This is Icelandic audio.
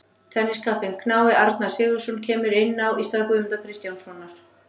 Tenniskappinn knái Arnar Sigurðsson kemur inn á í stað Guðmundar Kristjánssonar.